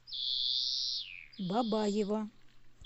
бабаево